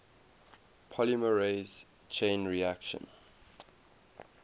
polymerase chain reaction